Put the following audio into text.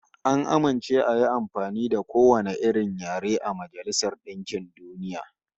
An amince ayi amfani da kowane yare a Majailsar DInkin DUniya